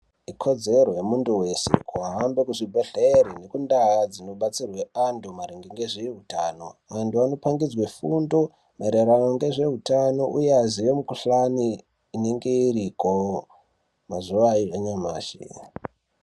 Ikodzero yemuntu wese kuhambe kuzvibhedhlere nekundaa dzinobatsirwe antu maringe ngezveutano. Vantu vanopangidzwe fundo maererano ngezveutano, unyazi mikhuhlani inenge iriko mazuwa anyamashi.